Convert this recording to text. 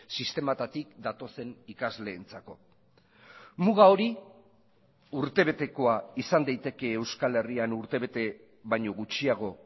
sistemetatik datozen ikasleentzako muga hori urtebetekoa izan daiteke euskal herrian urtebete baino gutxiago